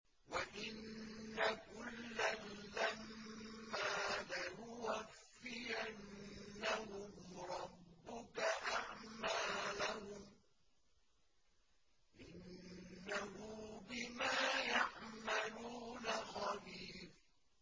وَإِنَّ كُلًّا لَّمَّا لَيُوَفِّيَنَّهُمْ رَبُّكَ أَعْمَالَهُمْ ۚ إِنَّهُ بِمَا يَعْمَلُونَ خَبِيرٌ